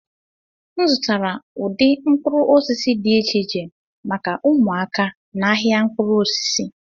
M zụtara ụdị mkpụrụ osisi dị iche iche maka ụmụaka n'ahịa mkpụrụ osisi